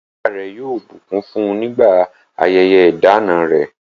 Ìyá rẹ̀ yóò bùkún fún nígbà ayẹyẹ ìdána rẹ̀.